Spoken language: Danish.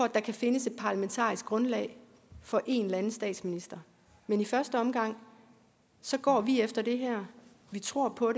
der kan findes et parlamentarisk grundlag for en eller anden statsminister men i første omgang går vi efter det her vi tror på